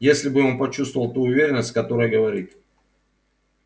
если бы он почувствовал ту уверенность с которой говорит